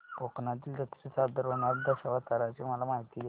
कोकणातील जत्रेत सादर होणार्या दशावताराची मला माहिती दे